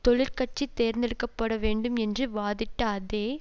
தொழிற் கட்சி தேர்ந்து எடுக்க பட வேண்டும் என்று வாதிட்ட அதே